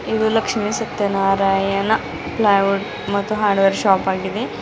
ಇದು ಲಕ್ಷ್ಮಿ ಸತ್ಯನಾರಾಯಣ ಪ್ಲೈವುಡ್ ಮತ್ತು hardware shop ಆಗಿದೆ.